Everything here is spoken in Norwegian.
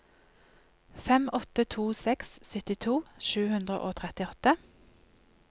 fem åtte to seks syttito sju hundre og trettiåtte